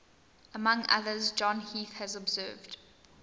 among others john heath has observed